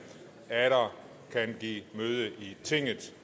atter kan give møde i tinget